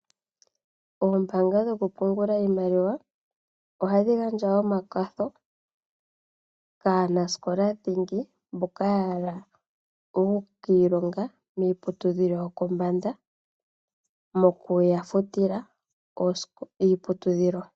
Oombanga dho ku pungula iimaliwa ohadhi gandja wo omakwatho kaanasikola dhingi, mboka ya hala oku ka ilonga miiputudhilo yo pombanda mo ku ya futila iiputudhilo.